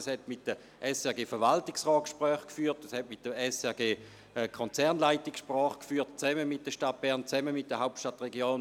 Sie hat mit dem Verwaltungsrat der SRG sowie mit der Konzernleitung Gespräche geführt, zusammen mit der Stadt Bern und mit der Hauptstadtregion.